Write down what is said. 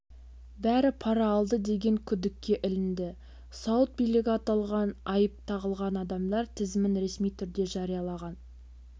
бәрі пара алды деген күдікке ілінді сауд билігі аталған айып тағылған адамдар тізімін ресми түрде жариялаған